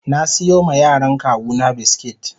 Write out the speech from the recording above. na siyo ma yaran kawuna biskit.